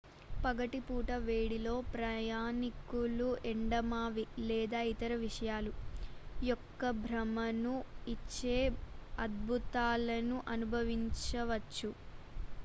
పగటి పూట వేడిలో ప్రయాణికులు ఎండమావి లేదా ఇతర విషయాలు యొక్క భ్రమను ఇచ్చే అద్భుతాలను అనుభవించవచ్చు